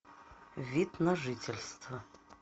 вид на жительство